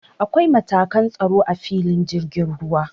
Akwai matakan tsaro a filin jirgin ruwa.